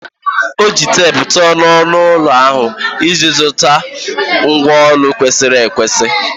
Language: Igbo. O ji teepu tụọ ọnụ ụlọ ahụ iji zụta ngwá ụlọ kwesịrị ekwesị.